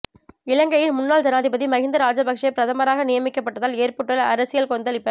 இலங்கையின் முன்னாள் ஜனாதிபதி மஹிந்த ராஜபக்ஷ பிரதமராக நியமிக்கப்பட்டதால் ஏற்பட்டுள்ள அரசியல் கொந்தளிப